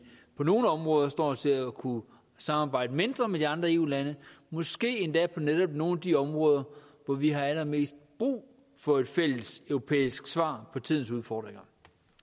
på nogle områder står til at kunne samarbejde mindre med de andre eu lande måske endda på netop nogle af de områder hvor vi har allermest brug for et fælles europæisk svar på tidens udfordringer